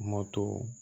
Mɔ tɔw